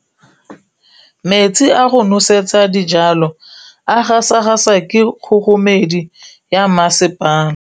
Metsi a go nosetsa dijalo a gasa gasa ke kgogomedi ya masepala.